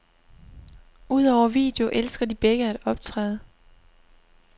Udover video elsker de begge at optræde.